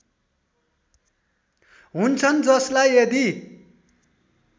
हुन्छन् जसलाई यदि